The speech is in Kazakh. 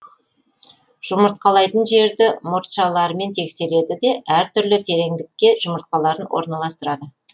жұмыртқалайтын жерді мұртшаларымен тексереді де әр түрлі тереңдікке жұмыртқаларын орналастырады